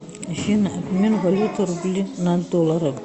афина обмен валюты рубли на доллары